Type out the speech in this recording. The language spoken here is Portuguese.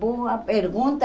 Boa pergunta.